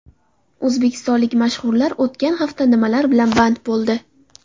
O‘zbekistonlik mashhurlar o‘tgan hafta nimalar bilan band bo‘ldi?